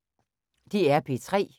DR P3